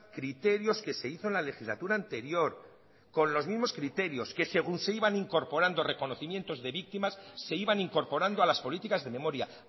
criterios que se hizo en la legislatura anterior con los mismos criterios que según se iban incorporando reconocimientos de víctimas se iban incorporando a las políticas de memoria